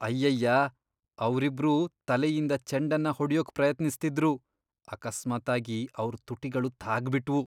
ಅಯ್ಯಯ್ಯಾ! ಅವ್ರಿಬ್ರೂ ತಲೆಯಿಂದ ಚೆಂಡನ್ನ ಹೊಡ್ಯೋಕ್ ಪ್ರಯತ್ನಿಸ್ತಿದ್ರು, ಅಕಸ್ಮಾತ್ತಾಗಿ ಅವ್ರ್ ತುಟಿಗಳು ತಾಗ್ಬಿಟ್ವು.